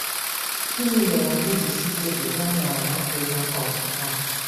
Gịnị mere anyị ji si Togo gaa nala Africa um a?